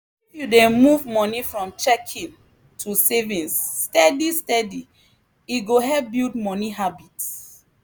if you dey move money from checking to savings steady steady e go help build money habit.